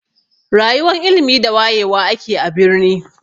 Rayuwan ilimi da wayewa ake a birni.